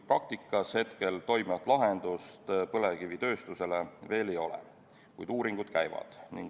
Praktikas hetkel toimivat lahendust põlevkivitööstusele veel ei ole, kuid uuringud käivad.